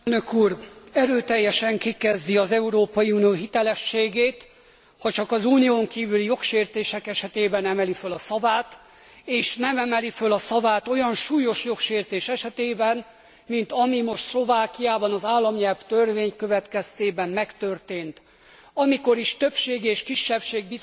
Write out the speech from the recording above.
Erőteljesen kikezdi az Európai Unió hitelességét, ha csak az Unión kívüli jogsértések esetében emeli föl a szavát és nem emeli föl a szavát olyan súlyos jogsértés esetében, mint ami most Szlovákiában az államnyelvtörvény következtében megtörtént, amikor is többség és kisebbség viszonyában